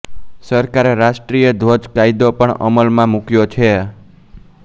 સરકારે રાષ્ટ્રિય ધ્વજ કાયદો પણ અમલમાં મૂક્યો છે